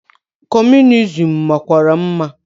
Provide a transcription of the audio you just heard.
Comunizim makwara mma.